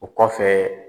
O kɔfɛ